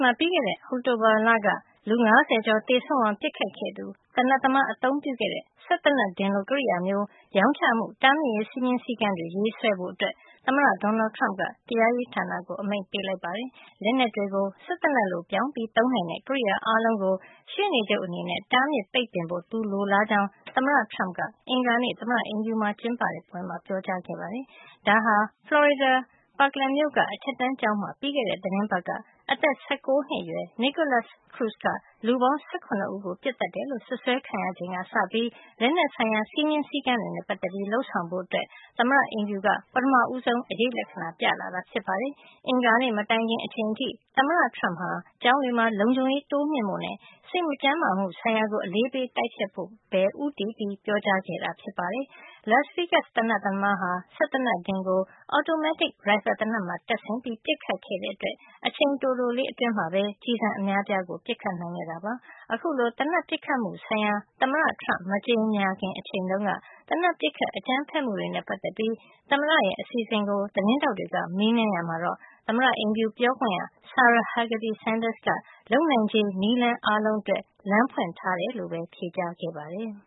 မှာ ပြီးခဲ့တဲ့ အောက်တိုဘာက လူ ၅၀ ကျော်သေဆုံးအောင် ပစ်ခတ်ခဲ့သူသေနတ်သမား အသုံးပြုခဲ့တဲ့ စက်သေနတ်ဒင်လို ကရိယာမျိုး ရောင်းချမှု တားမြစ်ရေး စည်းမျဉ်းစည်းကမ်းတွေ ရေးဆွဲဖို့အတွက် သမ္မတ Donald Trump က တရားရေးဌာနကို အမိန့်ပေးလိုက်ပါတယ်။ လက်နက်တွေကို စက်သေနတ်လို ပြောင်းပြီး သုံးနိုင်တဲ့ ကရိယာအားလုံးကို ရှေ့နေချုပ်အနေနဲ့ တားမြစ်ပိတ်ပင်ဖို့ သူလိုလားကြောင်း သမ္မတ Trump က အင်္ဂါနေ့ သမ္မတအိမ်ဖြူမှာကျင်းပတဲ့ ပွဲမှာ ပြောကြားခဲ့ပါတယ်။ ဒါဟာ ဖလော်ရီဒါ Parkland မြို့က အထက်တန်းကျောင်းမှာ ပြီးခဲ့တဲ့ သီတင်းပတ်က အသက် ၁၉ နှစ်အရွယ် Nikolas Cruz က လူပေါင်း ၁၇ ဦးကို ပစ်သတ်တယ်လို့ စွပ်စွဲခံရချိန်က စပြီး လက်နက်ဆိုင်ရာ စည်းမျဉ်းစည်းကမ်းတွေနဲ့ ပတ်သက်ပြီးလုပ်ဆောင်ဖို့ သမ္မတအိမ်ဖြူက ပထမဆုံး အရိပ်လက္ခဏာ ပြလာတာ ဖြစ်ပါတယ်။ အင်္ဂါနေ့မတိုင်ခင်အချိန်အထိ သမ္မတ Trump ဟာ ကျောင်းတွေမှာ လုံခြုံရေးတိုးမြှင့်ဖို့နဲ့ စိတ်မကျန်းမာမှု ဆိုင်ရာကို အလေးပေး တိုက်ဖျက်ဖို့ ပဲ ဦးတည်ပြောကြားခဲ့တာ ဖြစ်ပါတယ်။ Las Vegas သေနတ်သမားဟာ စက်သေနတ်ဒင်ကို အော်တိုမက်တစ် ရိုင်ဖယ်သေနတ်မှာ တပ်ဆင်ပြီး ပစ်ခတ်ခဲ့တဲ့အတွက် အချိန်တိုလေး အတွင်းမှာ ကျည်ဆံအများအပြား ပစ်ခတ်နိုင်ခဲ့တာပါ။ အခုလို သေနတ်ပစ်ခတ်မှုဆိုင်ရာ သမ္မတ Trump မကြေညာခင် အချိန်တုန်းက သေနတ်ပစ်ခတ် အကြမ်းဖက်မှုတွေနဲ့ ပတ်သက်ပြီး သမ္မတရဲ့ အစီအစဉ်ကို သတင်းထောက်တွေက မေးမြန်းရာမှာ သမ္မတအိမ်ဖြူပြောခွင့်ရ Sarah Huckabee Sanders က လုပ်နိုင်ခြေ နည်းလမ်း အားလုံးအတွက် လမ်းဖွင့်ထားကြောင်း ဖြေကြားခဲ့ပါတယ်